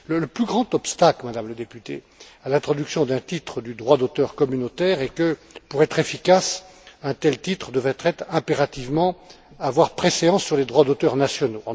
Le plus grand obstacle, Madame la députée, à l'introduction d'un titre du droit d'auteur communautaire est que, pour être efficace, un tel titre devrait impérativement avoir préséance sur les droits d'auteur nationaux.